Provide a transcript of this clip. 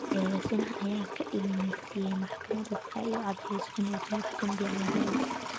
Eedeysanaha ayaa ka ilmaysiiyay maxkamadda si ay u caddeyso inaysan wax dambi ah lahayn.